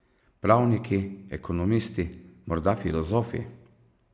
Pravniki, ekonomisti, morda filozofi?